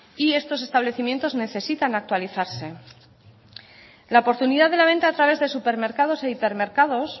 y estos establecimientos necesitan actualizarse la oportunidad de la venta a través de supermercados e hipermercados